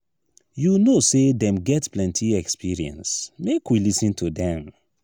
you know sey dem get plenty experience make we lis ten to dem.